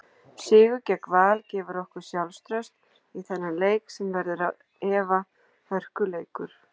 Sigur gegn Val gefur okkur sjálfstraust í þennan leik sem verður án efa hörkuleikur.